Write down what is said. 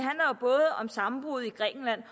om sammenbruddet i grækenland